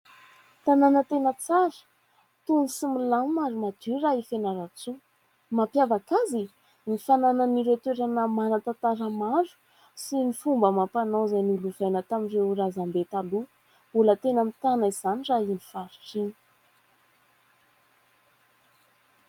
Tanàna tena tsara, tony sy milamina ary madio raha i Fianarantsoa. Mampiavaka azy ? Ny fananana ireo toerana manan-tantara maro sy ny fomba amam-panao, izay nolovaina tamin'ireo razambe taloha. Mbola mitana izany raha iny faritra iny.